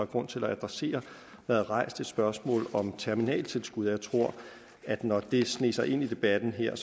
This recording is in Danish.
grund til at adressere været rejst et spørgsmål om terminaltilskud jeg tror at når det sneg sig ind i debatten her